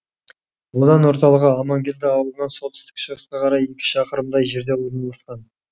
аудан ортылығы амангелді ауылынан солтүстік шығысқа қарай шақырымдай жерде орналасқан